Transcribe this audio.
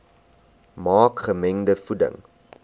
maak gemengde voeding